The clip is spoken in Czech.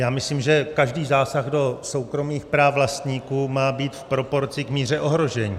Já myslím, že každý zásah do soukromých práv vlastníků má být v proporci k míře ohrožení.